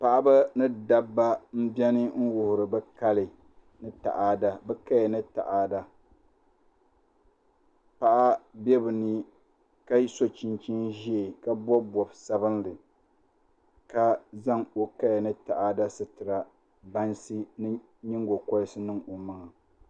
Paɣaba ni dabba n biɛni n wuhuri bi kali ni taada paɣa bɛ bi ni ka so chinchin ʒiɛ ka bob bob sabinli ka zaŋ o kaya ni taada sitira bansi ni nyingokoriti n niŋ o maŋa